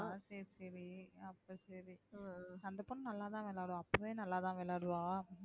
ஆஹ் சரி சரி அப்ப சரி அந்த பொண்ணு நல்லா தான் விளையாடும் அப்பவே நல்லா தான் விளையாடுவா.